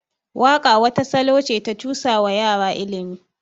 Waƙa wata salo ce ta cusawa yara ilimi.